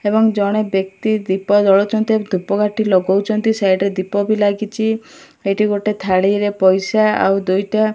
ଏବଂ ଜଣେ ବ୍ୟକ୍ତି ଦୀପ ଜଳାଉଛନ୍ତି ଆଉ ଧୂପକାଠି ଲଗଉଛନ୍ତି ସାଇଡ ରେ ଦୀପ ବି ଲାଗିଛି ଏଠି ଗୋଟେ ଥାଳିରେ ପଇସା ଆଉ ଦୁଇଟା --